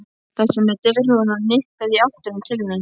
Þessi með derhúfuna nikkaði í áttina til mín.